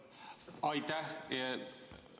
Aitäh!